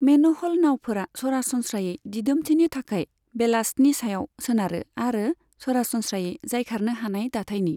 मेन'हल नाउफोरा सरासनस्रायै दिदोमथिनि थाखाय बेलास्टनि सायाव सोनारो आरो सरासनस्रायै जायखारनो हानाय दाथायनि।